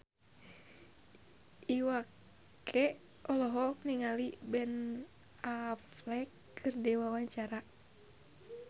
Iwa K olohok ningali Ben Affleck keur diwawancara